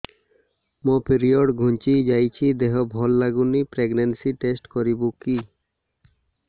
ମୋ ପିରିଅଡ଼ ଘୁଞ୍ଚି ଯାଇଛି ଦେହ ଭଲ ଲାଗୁନି ପ୍ରେଗ୍ନନ୍ସି ଟେଷ୍ଟ କରିବୁ କି